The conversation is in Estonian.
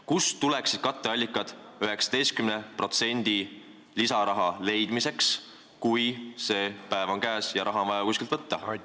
Kust tuleksid katteallikad selle 19% jaoks, kui see päev on käes ja raha on vaja kuskilt võtta?